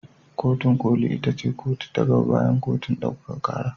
Kotin ƙoli ita ce kotu ta gaba bayan kotun ɗaukaka ƙara.